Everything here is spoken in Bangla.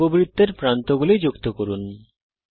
উপবৃত্তের প্রান্তগুলি যুক্ত করুন